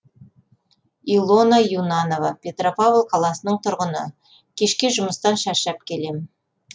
илона юнанова петропавл қаласының тұрғыны кешке жұмыстан шаршап келемін